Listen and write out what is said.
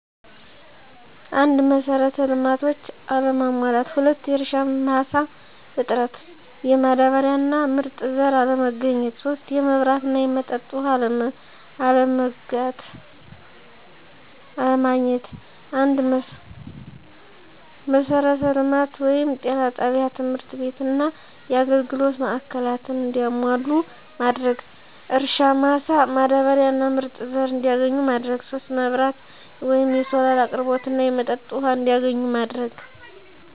1, መሰረተ ልማቶች አለመሟላት። 2, የእርሻ መሳ እጥረት፣ የማዳበሪያ እና ምርጥ ዘር አለማግኘት 3, የመብራት እና የመጠጥ ውሃ አለማግአት። 1, መሰረተ ልማቶችን(ጤና ጣቢያ፣ ትምህርት ቤትና የአገልግሎት ማዕከላትን )እንዲሟሉ ማድረግ። 2, የእርሻ ማሳ፣ ማዳበሪያና ምርጥ ዘር እንዲያገኙ ማድረግ። 3, መብራት(የሶላር አቅርቦት) እና የመጠጥ ውሃ እንዲያገኙ ማድረግ።